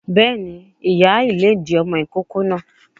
Béèni, ìyá ìlédìí ọmọ ìkókó náà